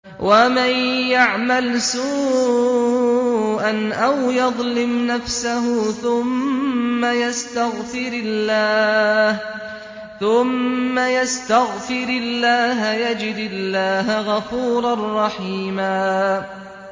وَمَن يَعْمَلْ سُوءًا أَوْ يَظْلِمْ نَفْسَهُ ثُمَّ يَسْتَغْفِرِ اللَّهَ يَجِدِ اللَّهَ غَفُورًا رَّحِيمًا